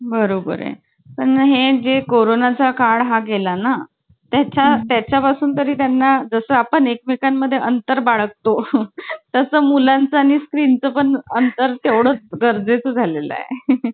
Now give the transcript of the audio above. आणि नंतर ते पण एक होता अजून काही तरी. दौलत गेला बाजारी म्हणून.